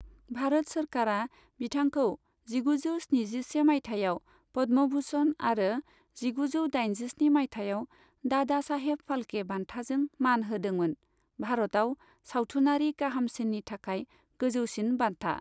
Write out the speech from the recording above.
भारत सोरखारा बिथांखौ जिगुजौ स्निजिसे मायथाइयाव पद्म भूषण आरो जिगुजौ दाइनजिस्नि मायथाइयाव दादा साहेब फाल्के बान्थाजों मान होदोंमोन, भारताव सावथुनारि गाहामसिन्नि थाखाय गोजौसिन बान्था।